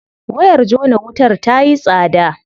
Wayar jona wutar tayi tsada.